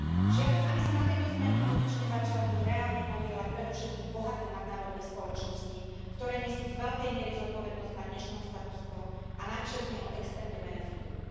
Žiadam, aby sa na tejto zmene konečne začali reálne podieľať predovšetkým bohaté nadnárodné spoločnosti, ktoré nesú z veľkej miery zodpovednosť na dnešnom status quo, a navyše z neho extrémne benefitujú.